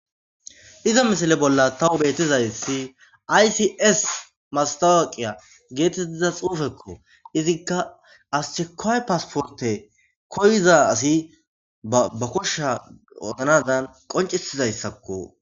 Iza misale bolla tawu betizayssi aysis mastawaqiya geetettiza xuufekko izikka aschekoy paasporte koyiza asi ba koshsha otanadan qoncisizayssakko.